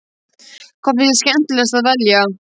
Hvað finnst þér skemmtilegast að velja?